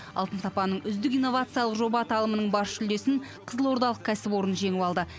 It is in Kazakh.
алтын сапаның үздік инновациялық жоба аталымының бас жүлдесін қызылордалық кәсіпорын жеңіп алды